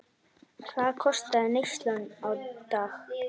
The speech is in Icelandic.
Hvað kostaði neyslan á dag?